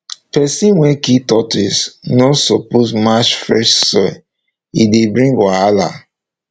person wey kill tortoise no suppose match fresh soil e dey bring wahala